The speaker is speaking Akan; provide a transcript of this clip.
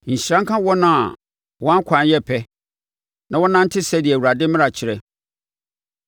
Nhyira nka wɔn a wɔn akwan yɛ pɛ na wɔnante sɛdeɛ Awurade mmara kyerɛ.